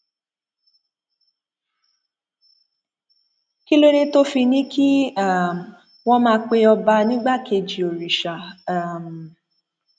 kí ló dé tó fi ní kí um wọn má pe ọba nígbàkejì òrìṣà um